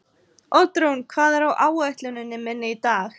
Oddrún, hvað er á áætluninni minni í dag?